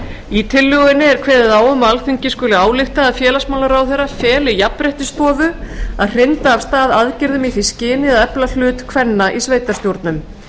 í tillögunni er kveðið á um að alþingi skuli álykta að félagsmálaráðherra feli jafnréttisstofu að hrinda af stað aðgerðum í því skyni að efla hlut kvenna í sveitarstjórnum